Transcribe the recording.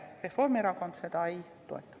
Reformierakond seda ei toeta.